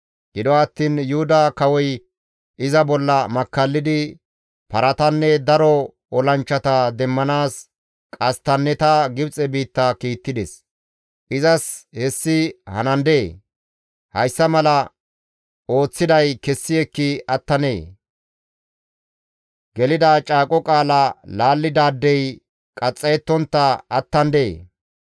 Gido attiin Yuhuda kawoy iza bolla makkallidi, paratanne daro olanchchata demmanaas qasttanneta Gibxe biitta kiittides. Izas hessi hanandee? Hayssa mala ooththiday kessi ekki attandee? Gelida caaqo qaala laallidaadey qaxxayettontta attandee?